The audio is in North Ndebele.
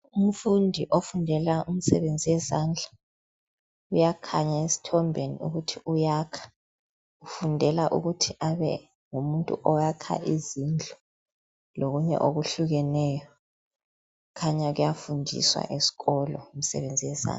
Umfundi ofundela imisebenzi yezandla, uyakhanya esithombeni ukuthi uyakha. Ufundela ukuthi abe ngumntu oyakha izindlu lokunye okuhlukeneyo khanya kuyafundiswa esikolo imisebenzi yezandla